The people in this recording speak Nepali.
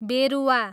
बेरुवा